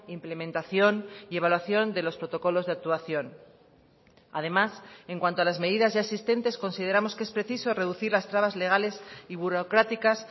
implementación y evaluación de los protocolos de actuación además en cuanto a las medidas ya existentes consideramos que es preciso reducir las trabas legales y burocráticas